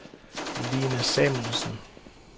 Line Samuelsen